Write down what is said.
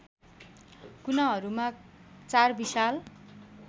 कुनाहरूमा चार विशाल